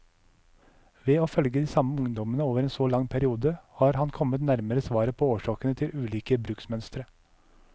Ved å følge de samme ungdommene over en så lang periode, har han kommet nærmere svaret på årsakene til ulike bruksmønstre.